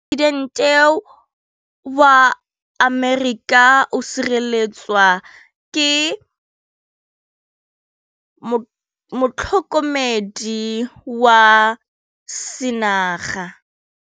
Poresitêntê wa Amerika o sireletswa ke motlhokomedi wa sengaga.